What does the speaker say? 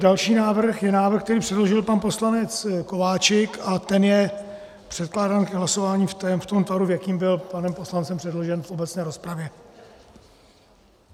Další návrh je návrh, který předložil pan poslanec Kováčik, a ten je předkládán ke hlasování v tom tvaru, v jakém byl panem poslancem předložen v obecné rozpravě.